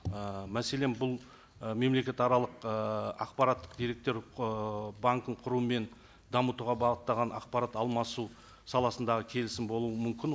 ы мәселен бұл ы мемлекетаралық ыыы ақпараттық деректер ыыы банкін құру мен дамытуға бағытталған ақпарат алмасу саласындағы келісім болуы мүмкін